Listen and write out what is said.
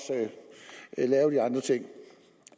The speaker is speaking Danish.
lave de andre ting